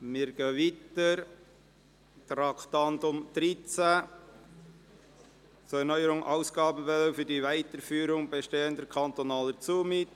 Wir fahren weiter und kommen zum Traktandum 13: « Zu erneuernde Ausgabenbewilligungen für die Weiterführung bestehender kantonaler Zumieten